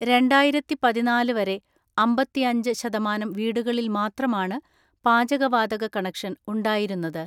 രണ്ടായിരത്തിപതിനാല് വരെ അമ്പതിഅഞ്ച് ശതമാനം വീടുകളിൽ മാത്രമാണ് പാചകവാതക കണക്ഷൻ ഉണ്ടായിരുന്നത്.